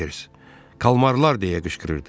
Salters kalmarlar deyə qışqırırdı.